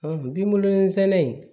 binkolonsɛnɛ